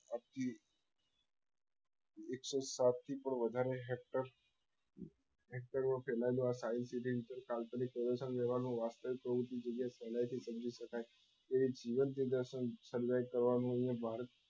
એકસો સાત થી પણ વધારે hectors hector માં ફેલાયેલું આ science city નું કાલ્પનિક પ્રદર્શન કરવા નું વાસ્તવિક પ્રયત્ન સહેલી થી સમજી શકાય એવી જીવન પ્રદર્શન sarve કરવા ની અહી ભારત